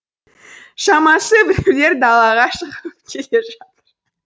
шамасы біреулер далаға шығып келе жатыр